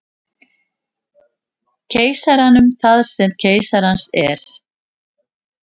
Keisaranum það sem keisarans er.